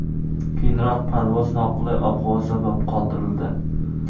Keyinroq parvoz noqulay ob-havo sabab qoldirildi.